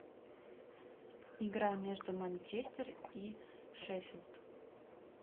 игра между манчестер и шеффилд